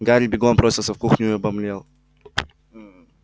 гарри бегом бросился в кухню и обомлел